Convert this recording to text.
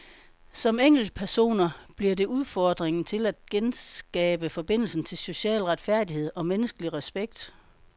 Som enkeltpersoner bliver det udfordringen til os at genskabe forbindelsen til social retfærdighed og menneskelig respekt.